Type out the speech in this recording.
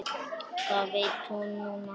Það veit hún núna.